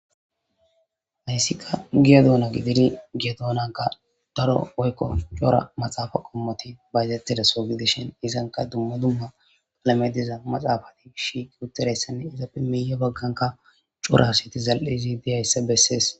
Haysika giya duna gididi goya dunanka daro woykon cora maxafe qomoti bayizetizaso gidishin izanka duma duma medhoy diza maxafa shiqi utidaysane izappe miye baganka cora asiy dizaysa beses